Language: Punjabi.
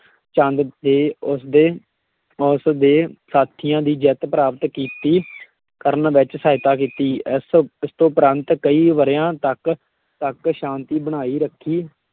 ਚੰਦ ਤੇ ਉਸ ਦੇ, ਉਸ ਦੇ ਸਾਥੀਆਂ ਦੀ ਜਿੱਤ ਪ੍ਰਾਪਤ ਕੀਤੀ ਕਰਨ ਵਿੱਚ ਸਹਾਇਤਾ ਕੀਤੀ, ਇਸ ਇਸਤੋਂ ਉੱਪਰੰਤ ਕਈ ਵਰ੍ਹਿਆਂ ਤੱਕ ਤੱਕ ਸ਼ਾਂਤੀ ਬਣਾਈ ਰੱਖੀ,